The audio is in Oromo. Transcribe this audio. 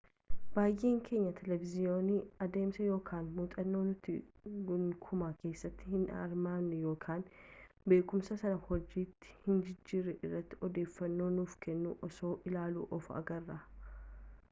baay'een keenya televizhiinii adeemsa yookaan muuxannoo nuti gonkumaa keessatti hin hirmaannee yookaan beekumsa sana hojiitti hin jijjiirre irratti odeeffannoo nuuf kennu osoo ilaallu of agarra